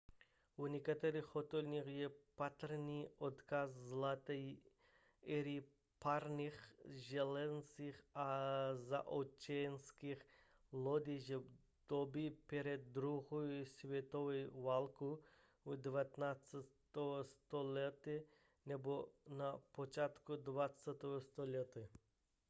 v některých hotelích je patrný odkaz zlaté éry parních železnic a zaoceánských lodí z doby před druhou světovou válkou v 19. století nebo na počátku 20. století